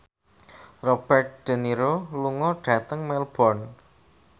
Robert de Niro lunga dhateng Melbourne